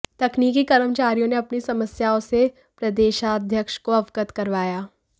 तकनीकी कर्मचारियों ने अपनी समस्याओं से प्रदेशाध्यक्ष को अवगत करवाया